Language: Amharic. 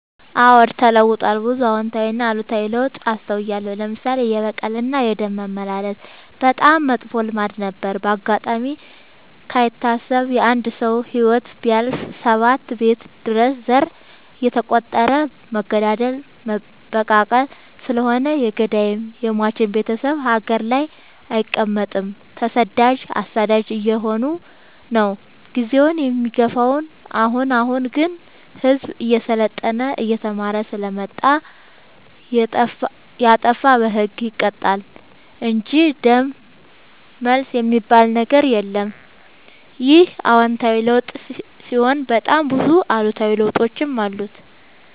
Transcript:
አዎድ ተለውጧል ብዙ አዎታዊ እና አሉታዊ ለውጥ አስታውያለሁ። ለምሳሌ፦ የበቀል እና የደም መመላለስ በጣም መጥፎ ልማድ ነበረ። በአጋጣሚ ካይታሰብ የአንድ ሰው ህይወት ቢያልፍ ሰባት ቤት ድረስ ዘር እየተ ቆጠረ መገዳደል መበቃቀል ስለሆነ የገዳይም የሞችም ቤቴሰብ ሀገር ላይ አይቀ መጥም ተሰዳጅ አሳዳጅ አየሆነ ነው። ጊዜውን የሚገፋው። አሁን አሁን ግን ህዝቡ እየሰለጠና እየተማረ ስለመጣ። የጣፋ በህግ ይቀጣል እንጂ ደም መልስ የሚበል ነገር የለም ይህ አዎታዊ ለውጥ ሲሆን በጣም ብዙ አሉታዊ ለውጦችም አሉ።